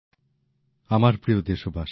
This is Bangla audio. নতুনদিল্লি ২৭শে ডিসেম্বর ২০২০